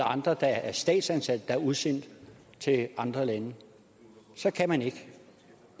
andre der er statsansatte været udsendt til andre lande så kan man ikke